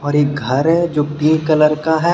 और एक घर है जो पिंक कलर का है।